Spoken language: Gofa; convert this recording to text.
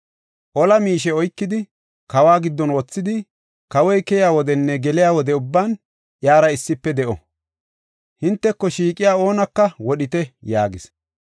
Ola miishe oykidi, kawa giddon wothidi, kawoy keyiya wodenne geliya wode ubban iyara issife de7o. Hinteko shiiqiya oonaka wodhite” yaagis.